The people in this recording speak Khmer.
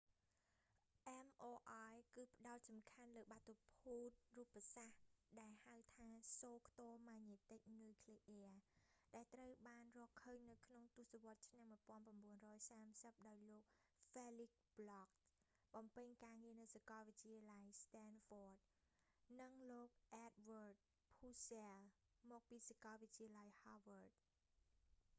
mri គឺផ្ដោតសំខាន់លើបាតុភូតរូបសាស្រ្ត ដែលហៅថាសូរខ្ទរម៉ាញ៉េទិកនុយក្លេអ៊ែរ nmr ដែលត្រូវបានរកឃើញនៅក្នុងទស្សវត្សរ៍ឆ្នាំ 1930 ដោយលោក felix bloch បំពេញការងារនៅសាកលវិទ្យាល័យ ស្តែនហ្វ័ត stanford university និងលោក អែដវើដ ភូសែល edward purcell មកពីសាកលវិទ្យាល័យ ហាវើដ harvard university